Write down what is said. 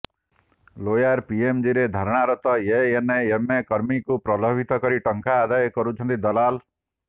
lower ପିଏମଜିରେ ଧାରଣାରତ ଏଏନଏମକର୍ମୀଙ୍କୁ ପ୍ରଲୋଭିତ କରି ଟଙ୍କା ଆଦାୟ କରୁଛନ୍ତି ଦଲାଲ